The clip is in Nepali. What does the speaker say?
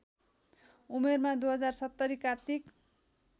उमेरमा २०७० कार्तिक